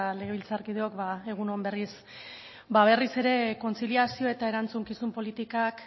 legebiltzarkideok egun on berriz berriz ere kontziliazio eta erantzukizun politikak